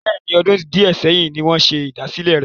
Bẹ́ẹ̀ni, ọdún di ẹ sẹ́yìn ni wọn ṣe ìdásílẹ́ rẹ.